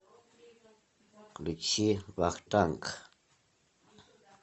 включи вахтанг